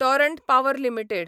Torrent power limited